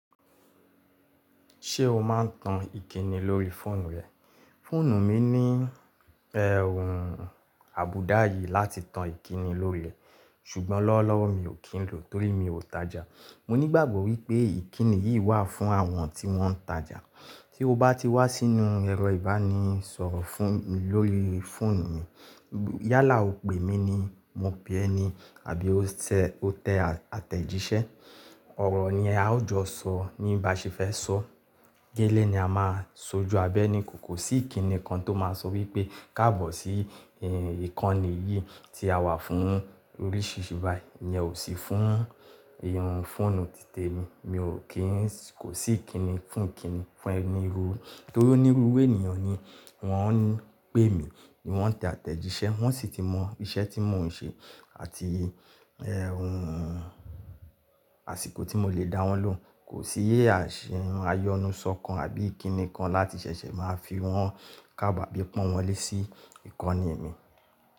Ṣé o máa n tan ìkíni lórí fóònù rẹ? Fóònù mi ní ẹhún àbùdá yìí láti tan ìkíni lórí rẹ̀, ṣùgbọ́n lọ́wọ́lọ́wọ́ mi ò kí n lò torí mi ò tajà. Mo nígbàgbọ́ wípé ìkíni yìí wà fún àwọn tí wọ́n ń tajà. Tí o bá ti wá sínú ẹ̀rọ ìbánisọ̀rọ̀ fún mi lórí fóònù mi, yálà o pè mí ní mo pè ẹ ni àbí mó tẹ àtẹ̀jíṣẹ́, ọ̀rọ̀ ni a ó jọ sọ ní bá ṣe fẹ́ sọ. Gẹ́lẹ́ ni a máa sojú abẹ́ ni kò sí ìkíni kan tó máa sọ wípé káàbọ̀ sí eh ìkànnì yìí tí a wà fún oríṣiríṣi báyìí, ìyẹn ò sí fún ehún fóònù títè mi. Mi ò kí n kò sí ìkíni fún ìkíni fún ẹni irú torí onírúurú ènìyàn ni wọ́n ń pè mí ni wọ́n tẹ àtẹ̀jíṣẹ́, wọ́n sì ti mọ iṣẹ́ tí mò ń ṣe àti ehún àsìkò tí mo lè dáwọn lòhun. Kò sí iyè àṣìn ayọnusọ kan àbí ìkíni kan láti ṣẹ̀ṣẹ̀ máa fi wọ́n káàbọ̀ bí pọ́n wọn lé sí ìkànnì mi.